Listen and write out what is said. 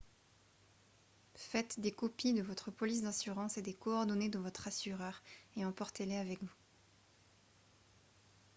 faites des copies de votre police d'assurance et des coordonnées de votre assureur et emportez-les avec vous